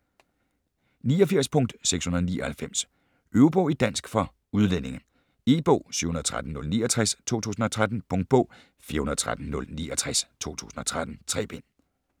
89.699 Øvebog i dansk for udlændinge E-bog 713069 2013. Punktbog 413069 2013. 3 bind.